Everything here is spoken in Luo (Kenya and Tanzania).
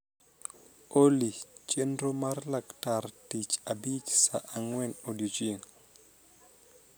oly Chenro mar laktar tich abich saa angwen odiechieng